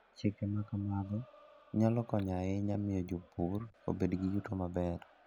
Chike ma kamago nyalo konyo ahinya e miyo jopur obed gi yuto maber.